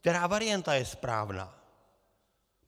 Která varianta je správná?